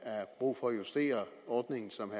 er brug for at justere ordningen som